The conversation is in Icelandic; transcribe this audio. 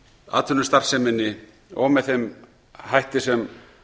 atvinnustarfseminni og með þeim hætti sem